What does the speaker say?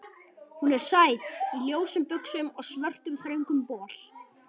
Hún er sæt, í ljósum buxum og svörtum þröngum bol.